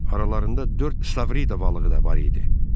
Aralarında dörd stavrida balığı da var idi.